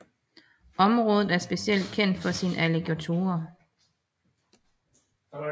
Området er specielt kendt for sine alligatorer